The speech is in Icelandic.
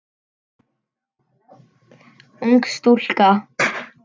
Ung stúlka.